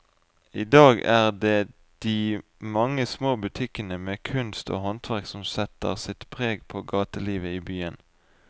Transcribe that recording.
I dag er det de mange små butikkene med kunst og håndverk som setter sitt preg på gatelivet i byen.